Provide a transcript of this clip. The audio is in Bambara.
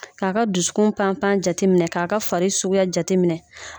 K'a ka dusukun pan pan jateminɛ k'a ka fari suguya jateminɛ